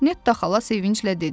Netta xala sevinclə dedi.